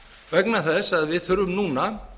vegna þess að við þurfum núna